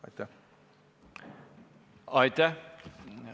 Aitäh!